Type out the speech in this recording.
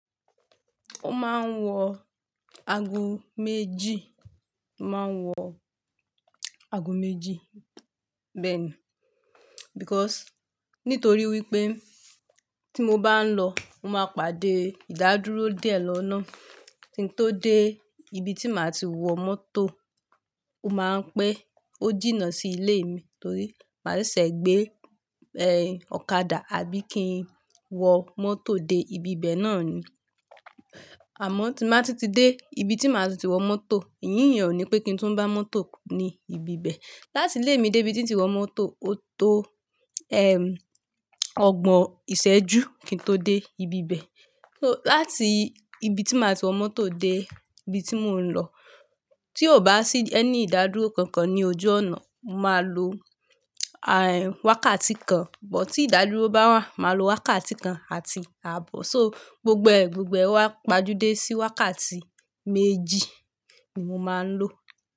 Ó máa ń wọ ago méjì, máa ń wọ ago méjì bẹ́ẹ̀ni because nítorí wípé tí mo bá ń lọ, mo máa pàdé ìdádúró díẹ̀ lọ́nà. Kí n tó dé ibi tí màá ti wọ mọ́tò, ó máa ń pẹ́, ó jìnnà sí ilé mi torí màá ṣẹ̀se gbé, eh, ọ̀kadà àbí kí n wọ mọ́tò dé ibi bẹ́ẹ̀ náà ni. Àmọ́ tí n màá tún ti dé ibi tí màá tún tin wọ mọ́tò, ìrìn yẹn o ni pé kí n tún bá mọ́tò ni ibi bẹ. Láti ilé mi dé ibi tí ń ti wọ mọ́tò, ó tó, ẹm, ọgbọ̀n ìṣẹ́jú kí n tó dé ibi bẹ. So láti ibi tí màá ti wọ mọ́tò dé ibi tí mò ń lọ, tí ò bá sí any ìdádúró kankan ní ojú ọ̀nà, màá lo, a, wákàtí kan. But tí ìdádúró bá wà, màá lo wákàtí kan àti àbọ̀. So gbogbo ẹ gbogbo ẹ owá pajú dé sí wákàtí méjì ni mo máa ń lò.